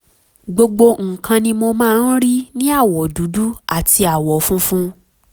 gbogbo nǹkan ni mo máa ń rí ní àwọ̀ dúdú àti àwọ̀ funfun